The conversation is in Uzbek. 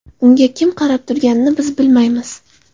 Unga kim qarab turganini biz bilmaymiz.